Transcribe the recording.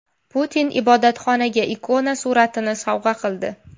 Putin ibodatxonaga ikona suratini sovg‘a qildi.